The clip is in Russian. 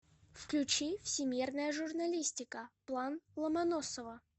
включи всемирная журналистика план ломоносова